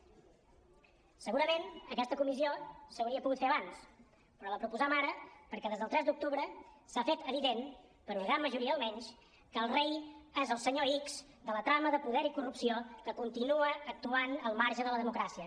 segurament aquesta comissió s’hauria pogut fer abans però la proposam ara perquè des del tres d’octubre s’ha fet evident per a una gran majoria almenys que el rei és el senyor x de la trama de poder i corrupció que continua actuant al marge de la democràcia